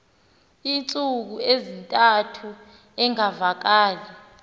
iintsuku ezintathu engavakali